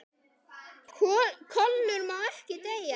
KOLUR MÁ EKKI DEYJA